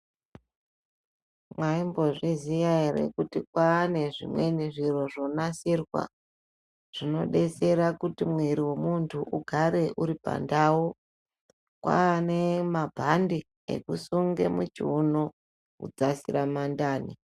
Mwaimbozviziya ere kuti kwaane zvimweni zviro zvonasirwa, zvinodetsera kuti mwiri wemuntu ugare uri pandau. Kwaane mabhande ekusunge muchiunu kudzasira mandani.